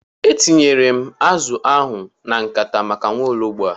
E tinyela m azụ ahụ na nkata maka nwaologbo a.